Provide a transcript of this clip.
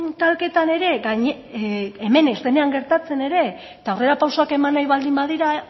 talketan ere hemen ez denean gertatzen ere eta aurrera pausoak eman nahi baldin badira